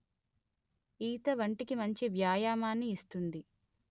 ఈత ఒంటికి మంచి వ్యాయామాన్నిస్తుంది